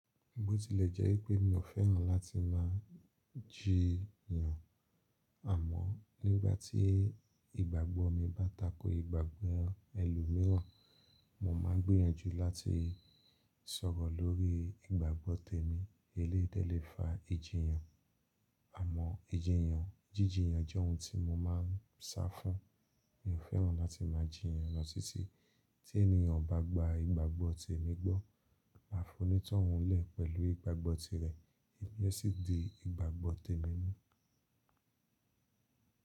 Bó tilẹ̀ jẹ́ pé mi ò fẹ́ràn láti máa jíyan, àmọ́ nígbà tí ìgbàgbọ́ mi bá tako ìgbàgbọ́ ẹlòmíràn, mo máa gbìyànjú láti sọ̀rọ̀ lórí ìgbàgbọ́ tèmi eléyìí dé lẹ́fa ìjìyàn. Àmọ́ ìjìyàn, jíjíyàn jẹ́ ohun tí mo máa ń sa fún. Mi ò fẹ́ràn láti máa jíyan lọ titi, tí ènìyàn ò bá gba ìgbàgbọ́ tèmi gbọ́. Máa fonítòhún lè pẹ̀lú ìgbàgbọ́ ti rẹ, èmi o sì di ìgbàgbọ́ tèmi mú.